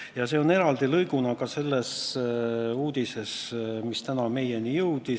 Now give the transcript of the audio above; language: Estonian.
Ja see on eraldi lõiguna ka selles uudises, mis täna meieni jõudis.